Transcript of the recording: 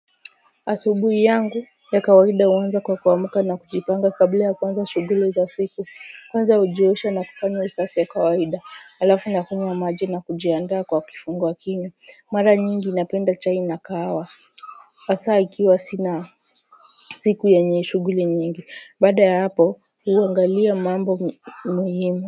Asubuhi yangu ya kawaida huanza kwa kuamumka na kujipanga kabla ya kuanza shughuli za siku kwanza hujiosha na kufanya usafi ya kawaida halafu nakunywa maji na kujiandaa kwa kifunguwa kinywa mara nyingi napenda chai na kahawa hasaa ikiwa sina siku yenye shughuli nyingi baada ya hapo huangalia mambo muhimu.